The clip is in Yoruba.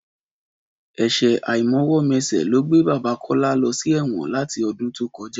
Ẹ̀ṣẹ̀ àìmọwọ́-mẹsẹ̀ ló gbé bàbá Kọ́lá lọ sí ẹ̀wọ̀n láti ọdún tó kọjá